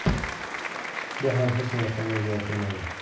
Bu ham hech narsani o‘zgartirmadi.